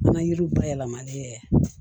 An ka yiriw bayɛlɛmali